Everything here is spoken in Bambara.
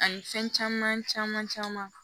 Ani fɛn caman caman caman